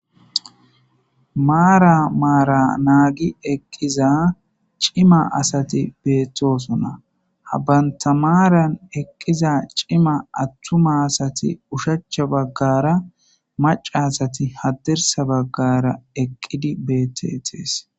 maara maara naagi eqqiza cima asati Beettosonna habbanta maaran eqqiza cima attuma asati ushachcha baggara maca asati hadirsa baggara eqqidi bettetees.